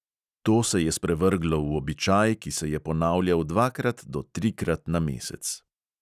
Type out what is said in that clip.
To se je sprevrglo v običaj, ki se je ponavljal dvakrat do trikrat na mesec.